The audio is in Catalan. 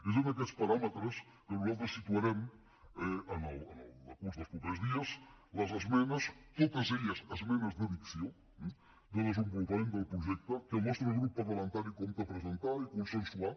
és en aquests paràmetres que nosaltres situarem en el decurs dels propers dies les esmenes totes elles esmenes d’addició eh de desenvolupament del projecte que el nostre grup parlamentari compta a presentar i consensuar